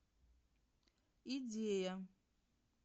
идея